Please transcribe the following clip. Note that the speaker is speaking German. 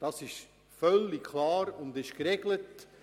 Das ist klar geregelt.